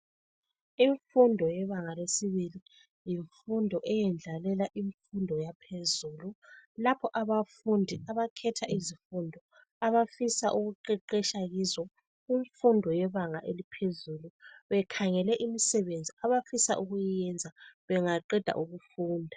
Imfundo yebangalesibili yimfundo eyendlalela imfundo yaphezulu lapho abafundi abakhetha izifundo abafisa ukuqeqetsha kuzo kumfundo yebanga eliphezulu bekhangele imisebenzi abafisa ukuyenza bangaqeda ukufunda.